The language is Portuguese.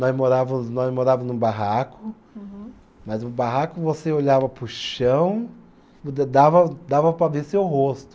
Nós morávamos, nós morávamos num barraco. Uhum. Mas no barraco você olhava para o chão, da da dava dava para ver seu rosto.